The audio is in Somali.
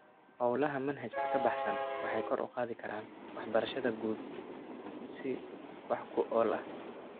Hawlaha manhajka ka baxsan waxay kor u qaadi karaan waxbarashada guud si wax ku ool ah.